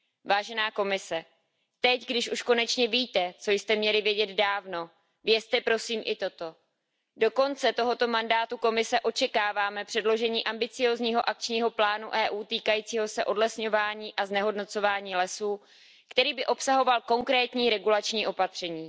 Vážená Komise, teď, když už konečně víte, co jste měli vědět dávno, vězte prosím i toto do konce tohoto mandátu Komise očekáváme předložení ambiciózního akčního plánu EU týkajícího se odlesňování a znehodnocování lesů, který by obsahoval konkrétní regulační opatření.